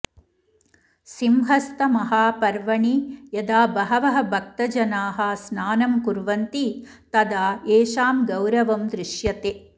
सिंहस्थमहापर्वणि यदा बहवः भक्तजनाः स्नानं कुर्वन्ति तदा एषां गौरवं दृश्यते